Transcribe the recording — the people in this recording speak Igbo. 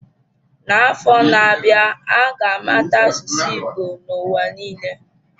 N'afọ na-abịa, a ga-amata asụsụ Igbo n'ụwa niile.